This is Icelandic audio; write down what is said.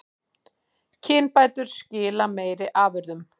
Kynbætur skila meiri afurðum